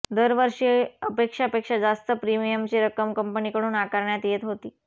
दरवर्षी अपेक्षा पेक्षा जास्त प्रिमियमची रक्कम कंपनीकडून आकारण्यात येत होती